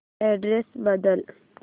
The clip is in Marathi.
अॅड्रेस बदल